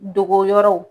Dogo yɔrɔw